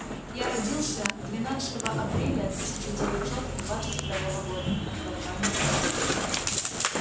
я родился двенадцатого апреля тысяча девятьсот двадцать второго года отбарабанил коля